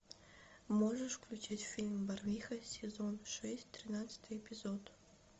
можешь включить фильм барвиха сезон шесть тринадцатый эпизод